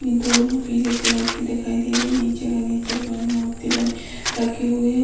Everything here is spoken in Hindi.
दोनों पीले कलर की दिखाई दे रही। नीचे का नीचे भगवान की मूर्ति बनी रखी हुई है।